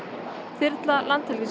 þyrla